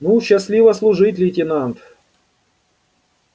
ну счастливо служить лейтенант